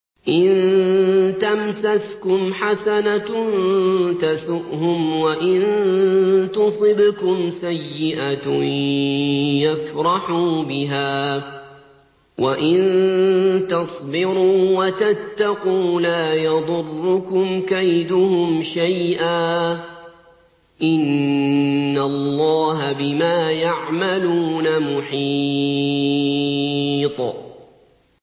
إِن تَمْسَسْكُمْ حَسَنَةٌ تَسُؤْهُمْ وَإِن تُصِبْكُمْ سَيِّئَةٌ يَفْرَحُوا بِهَا ۖ وَإِن تَصْبِرُوا وَتَتَّقُوا لَا يَضُرُّكُمْ كَيْدُهُمْ شَيْئًا ۗ إِنَّ اللَّهَ بِمَا يَعْمَلُونَ مُحِيطٌ